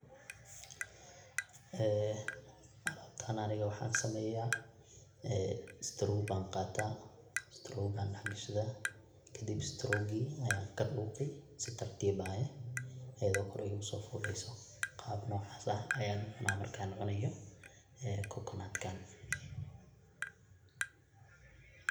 ee alabtan ani waxan sameeya straw ban qataa straw ayan dhax gashada kadib strowgi ayan kadhuuqi si tartib ah ayado kor iguso fuleyso qab noocas ah ayan u cuna markan cunayo ee kokonatkan